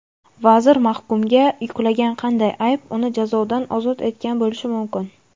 vazir mahkumga yuklagan qanday ayb uni jazodan ozod etgan bo‘lishi mumkin?.